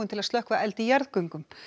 til að slökkva eld í jarðgöngum